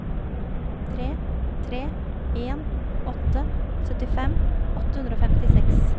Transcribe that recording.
tre tre en åtte syttifem åtte hundre og femtiseks